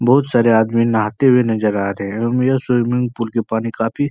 बहुत सारे आदमी नहाते हुए नजर आ रहे हैं। अम्म यह स्विमिंग पूल के पानी काफी --